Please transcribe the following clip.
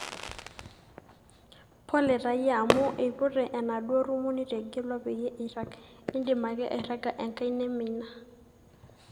sore taayie amu eipute enaduo rumu nitegelua peyie irag, idim ake airaga enkae neme ina